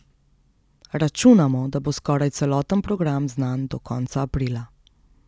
Računamo, da bo skoraj celoten program znan do konca aprila.